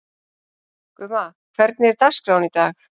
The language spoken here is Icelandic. Gumma, hvernig er dagskráin í dag?